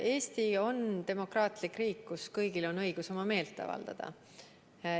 Eesti on demokraatlik riik, kus kõigil on õigus oma meelt avaldada.